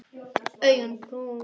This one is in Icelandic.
Augun brún.